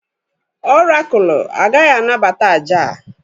ọrakụlụ agaghị anabata àjà a